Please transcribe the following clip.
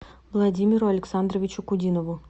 владимиру александровичу кудинову